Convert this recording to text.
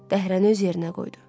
Dəhrəni öz yerinə qoydu.